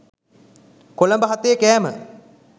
කොළඹ හතේ කෑම.